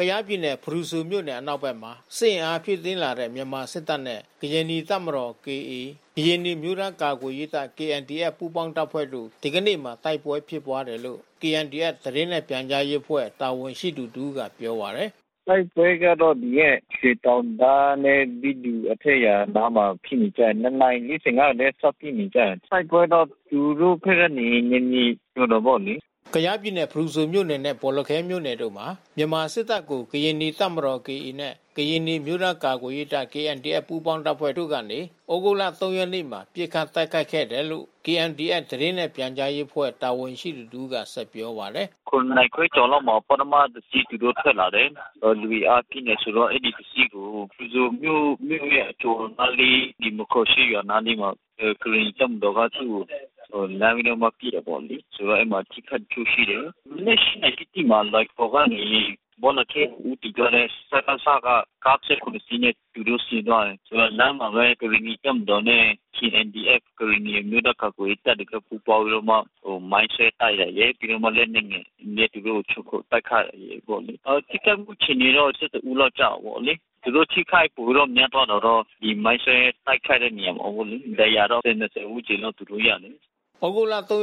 ကယားပြည်နယ် ဖရူဆိုမြို့နယ်အနောက်ဖက်မှာ စစ်အင်အားဖြည့်တင်းလာတဲ့ မြန်မာစစ်တပ်နဲ့ ကရင်နီတပ်မတော် (KA) ကရင်နီအမျိုးသားကာကွယ်ရေးတပ် (KNDF) ပူးပေါင်းတပ်ဖွဲ့တို့ ဒီကနေ့မှာတိုက်ပွဲဖြစ်ပွါးတယ်လို့ KNDF သတင်းနှင့် ပြန်ကြား ရေးအဖွဲ့တာဝန်ရှိသူတဦးကပြောပါတယ်။ “ တိုက်ပွဲကတော့ ဒီရက် ရွှေတောင်တန်းနဲ့ မိတူအထက်ရွာနားမှာ ဖြစ်နေကြတယ်။ (၂)နာရီ (၄၅)ကဘဲ စပစ်နေကြတယ်။ တိုက်ပွဲကသူတို့ဖက်က နယ်မြေကျွံတာပေါ့လေ။ ” ကယားပြည်နယ် ဖရူဆိုမြို့နယ်နဲ့ဘောလခဲမြို့နယ်တို့မှာ စစ်အင်အားဖြည့်တင်းလာတဲ့ မြန်မာစစ်တပ်ကို ကရင်နီတပ်မတော် (KA) နဲ့ ကရင်နီအမျိုးသားကာကွယ်ရေးတပ် (KNDF) ပူးပေါင်းတပ်ဖွဲ့တို့ကနေ သြဂုတ် (၃)ရက်နေ့မှာ ပစ်ခတ်တိုက်ခိုက် ခဲ့တယ်လို့ KNDF သတင်းနှင့်ပြန်ကြားရေးအဖွဲ့ တာဝန်ရှိသူတဦးက ပြောပါတယ်။ “ (၇)နာရီခွဲကျော်လောက်မှာ ပထမတစီးသူတို့ထွက်လာတယ်။ လူအင်အာအပြည့်နဲ့ဆိုတော့ အဲဒီတစီးကို ဖရူဆိုမြို့ မြို့ရဲ့ အကျော်နားလေး အဲဒီ မားခရာရှေ့ကျေးရွာနားလေးမှာ ကရင်နီတပ်မတော်ကသူ့ကိုလှမ်းပြီးတော့ပစ်တာပေါ့လေ။ ဆိုတော့ အဲဒီမှာပစ်ခတ်မှုရှိတယ်။ မနက်(၈)နာရီတိတိမှာလွိုင်ကော်ကနေ ဘော်လခဲဦးတည်သွားတဲ့ ဒကစက ကား(၁၇)စီးနဲ့ သူတို့ဆင်း သွားတယ်။ လမ်းမှာဘဲ ကရင်နီတပ်မတော်နဲ့ KNDF ကရင်နီအမျိုးသားကာကွယ်ရေးတပ်ပူးပေါင်းပြီးတော့မှ မိုင်းဆွဲတိုက်တယ် လေ။ ပြီးတော့မှလက်နက်ငယ်တွေနဲ့သူတို့ကိုခြုံခိုတိုက်ခိုက်တယ်ပေါ့။ ထိခိုက်မှုအခြေအနေတော့(၁၁)လောက်ကျတာပေါ့လေ။ သူတို့ထိခိုက်ပိုပြီးတော့များသွားတာတော့ ဒီမိုင်းဆွဲတိုက်ခိုက်တဲ့နေရာပေါ့။ ဒဏ်ရာတော့(၂၀)ဝန်းကျင်လောက်သူတို့ရတယ်။ ” သြဂုတ်(၃)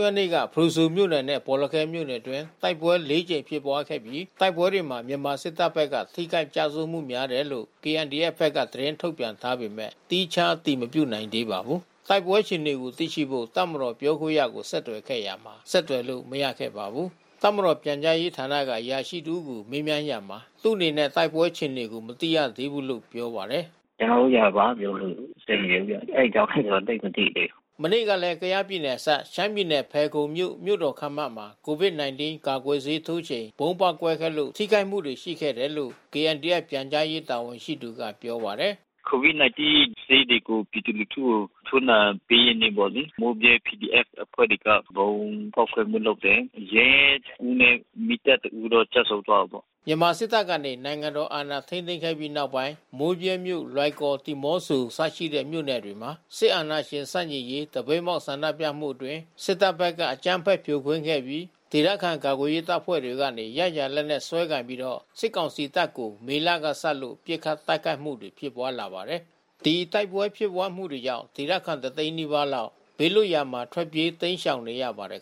ရက်နေ့က ဖရူဆိုမြို့နယ်နဲ့ဘောလခဲမြို့နယ်အတွင်း တိုက်ပွဲ(၄)ကြိမ်ဖြစ်ပွါးခဲ့ပြီး တိုက်ပွဲမှာ မြန်မာစစ်တပ်ဘက်က ထိခိုက်ကျဆုံးမှုများတယ်လို့ KNDFဘက်ကသတင်းထုတ်ပြန်ထားပေမဲ့ သီးခြားအတည်မပြုနိုင်သေးပါဘူး။ တိုက်ပွဲအခြေအနေကိုသိရှိဖို့ တပ်မတော်ပြောခွင့်ရကို ဆက်သွယ်ခဲ့ရာမှာ ဆက်သွယ်လို့မရခဲ့ပါဘူး။ တပ်မတော်ပြန်ကြားဌာနက အရာရှိတဦးကို မေးမြန်းရာမှာ သူ့အနေနဲ့တိုက်ပွဲအခြေအနေကိုမသိရသေးဘူးလို့ပြောပါတယ်။ “ ကျွန်တော်တို့က ဘာမှပြောလို့အဆင်မပြေဘူးဗျ။ အဲဒီအကြောင်း ကျွန်တော်သိပ်မသိသေးဘူး။ ” မနေ့ကလဲ ကယားပြည်နယ်အစပ် ရှမ်းပြည်နယ်ဖယ်ခုံမြို့ မြို့တော်ခန်းမမှာ ကိုဗစ်-၁၉ ကာကွယ်ဆေး ထိုးချိန် ဗုံးပေါက်ကွဲ ခဲ့လို့ ထိခိုက်မှုတွေရှိခဲ့တယ်လို့ KNDF ပြန်ကြားရေးတာဝန်ရှိသူက ပြောပါတယ်။ “ကိုဗစ်-၁၉ဆေးတွေကို ပြည်သူလူထုကို ထိုးနှံပေးတဲ့နေ့ပေါ့လေ။ မိုးဗြဲPDFအဖွဲ့တွေက ဗုံးဖောက်ခွဲမှုလုပ်တယ်။ ရဲတဦးနဲ့ မီးသတ်တဦးတော့ကျဆုံးသွားတာပေါ့။” မြန်မာစစ်တပ်ကနေ နိုင်ငံတော်အာဏာထိန်းသိမ်းခဲ့ပြီးနောက်ပိုင်း မိုးဗြဲမြို့ လွိုင်ကော် ဒီမော့ဆိုအစရှိတဲ့မြို့နယ်တွေမှာ စစ်အာ ဏာရှင်ဆန့်ကျင်ရေး သပိတ်မှောက်ဆန္ဒပြမှုအတွင်း စစ်တပ်ဘက်ကအကြမ်းဖက်ဖြိုခွင်းခဲ့ပြီး ဒေသခံကာကွယ်ရေး တပ်ဖွဲ့ တွေကနေ ရရာလက်နက်စွဲကိုင်ပြီးတော့ စစ်ကောင်စီတပ်ကို မေလကစလို့ ပစ်ခတ်တိုက်ခိုက်မှု တွေဖြစ်ပွားလာပါတယ်။ တိုက်ပွဲဖြစ်ပွါးမှုကြောင့် ဒေသခံတွေ တသိန်းနီးပါးလောက် ဘေးလွတ်ရာ ထွက်ပြေးတိမ်းရှောင်နေရပါတယ်